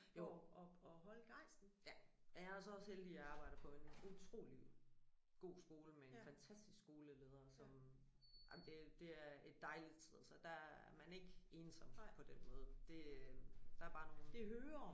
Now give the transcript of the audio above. Jo ja jeg er så også heldig jeg arbejder på en utrolig god skole med en fantastisk skoleleder som ej men det det er et dejligt sted så der er man ikke ensom på den måde det der er bare nogen